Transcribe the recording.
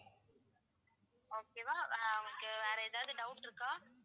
okay வா வ~ உங்களுக்கு வேற எதாவது doubt இருக்கா